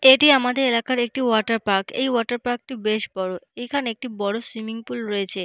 এটি আমাদের এলাকার একটি ওয়াটার পার্ক এই ওয়াটার পার্ক -টি বেশ বড় এখানে একটি বড় সুইমিং পুল রয়েছে।